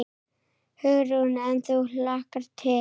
Hugrún: En þú hlakkar til?